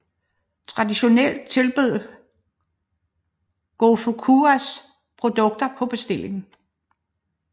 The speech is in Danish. Traditionelt tilbød gofukuyas produkter på bestilling